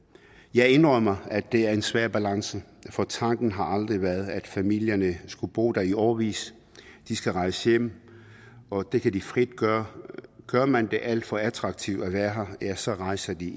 jeg indrømmer at det er en svær balance for tanken har aldrig været at familierne skulle bo der i årevis de skal rejse hjem og det kan de frit gøre gør man det alt for attraktivt at være her ja så rejser de